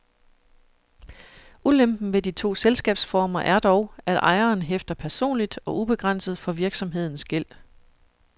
Ulempen ved de to selskabsformer er dog, at ejeren hæfter personligt og ubegrænset for virksomhedens gæld.